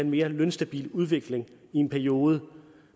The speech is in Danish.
mere lønstabil udvikling i en periode